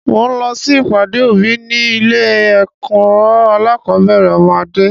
Mo ń lọ si ìpàdé òbí ni ilé ẹ̀kọ́ alakọ̀bẹ́ẹ́rẹ̀ ọmọ Adé.